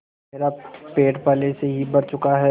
मेरा पेट पहले ही भर चुका है